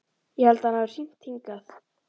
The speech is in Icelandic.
Ég held að hann hafi hringt hingað.